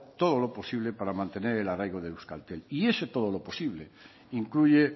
todo lo posible para mantener el arraigo de euskaltel y ese todo lo posible incluye